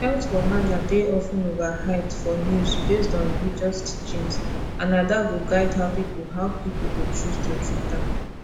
health wahala dey of ten overhyped for news based on religious teachings and na that go guide how people how people go choose to treat am